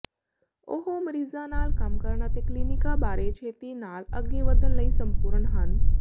ਉਹ ਮਰੀਜ਼ਾਂ ਨਾਲ ਕੰਮ ਕਰਨ ਅਤੇ ਕਲੀਨਿਕਾਂ ਬਾਰੇ ਛੇਤੀ ਨਾਲ ਅੱਗੇ ਵਧਣ ਲਈ ਸੰਪੂਰਨ ਹਨ